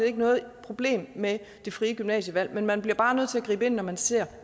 ikke noget problem med det frie gymnasievalg men man bliver bare nødt til at gribe ind når man ser